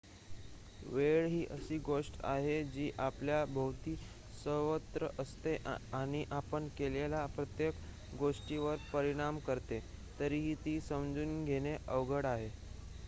वेळ ही अशी गोष्ट आहे जी आपल्या भोवती सर्वत्र असते आणि आपण केलेल्या प्रत्येक गोष्टीवर परिणाम करते तरीही ती समजून घेणे अवघड आहे